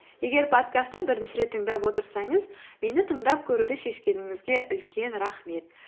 егер подкастты бірінші рет тыңдап отырсаңыз мені тыңдап көруді шешкеніңізге үлкен рахмет